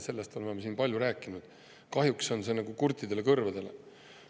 Sellest oleme siin palju rääkinud, kuid kahjuks see nagu kurtidele kõrvadele.